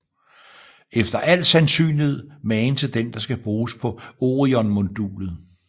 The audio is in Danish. Efter al sandsynlighed magen til den der skal bruges på Orionmodulet